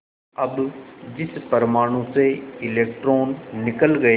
अब जिस परमाणु से इलेक्ट्रॉन निकल गए